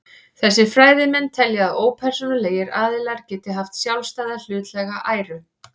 Þessir fræðimenn telja að ópersónulegir aðilar geti haft sjálfstæða hlutlæga æru.